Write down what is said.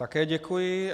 Také děkuji.